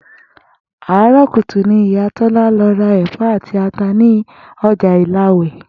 Àárò̩ kùtùkùtù ni ìyá Tó̩la lo̩ ra è̩fó̩ àti ata ní o̩jà Ìlawè̩